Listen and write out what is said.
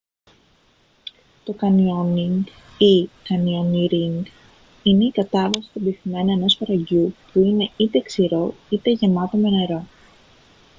το κάνιονιγκ ή: κανιονίρινγκ είναι η κατάβαση στον πυθμένα ενός φαραγγιού που είναι είτε ξηρό είτε γεμάτο με νερό